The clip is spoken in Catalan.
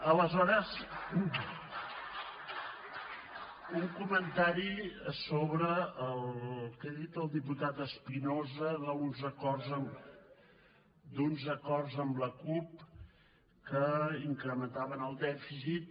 aleshores un comentari sobre el que ha dit el diputat espinosa d’uns acords amb la cup que incrementaven el dèficit